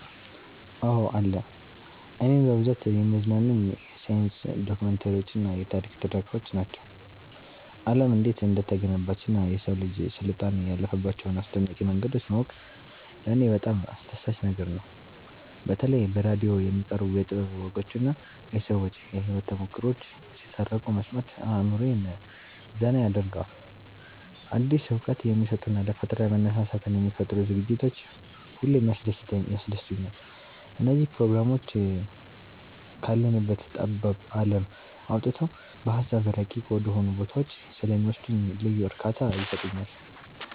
አዎ አለ። እኔን በብዛት የሚያዝናኑኝ የሳይንስ ዶክመንተሪዎችና የታሪክ ትረካዎች ናቸው። ዓለም እንዴት እንደተገነባችና የሰው ልጅ ስልጣኔ ያለፈባቸውን አስደናቂ መንገዶች ማወቁ ለኔ በጣም አስደሳች ነገር ነው። በተለይ በራዲዮ የሚቀርቡ የጥበብ ወጎችና የሰዎች የህይወት ተሞክሮዎች ሲተረኩ መስማት አእምሮዬን ዘና ያደርገዋል። አዲስ እውቀት የሚሰጡና ለፈጠራ መነሳሳትን የሚፈጥሩ ዝግጅቶች ሁሌም ያስደስቱኛል። እነዚህ ፕሮግራሞች ካለንበት ጠባብ ዓለም አውጥተው በሃሳብ ረቂቅ ወደሆኑ ቦታዎች ስለሚወስዱኝ ልዩ እርካታ ይሰጡኛል።